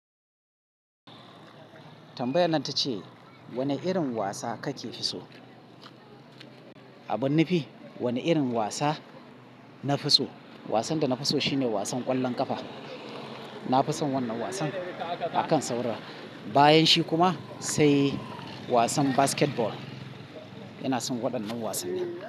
Tambayan nan ta ce wane irin wasa kake fi so? Abin nufi wane irin wasa na fi so? Wasan da na fi so shine wasan ƙwallon ƙafa. Na fi son wannan wasan akan sauran. Bayan shi kuma, sai wasan basketball. Ina son waɗannan wasanni.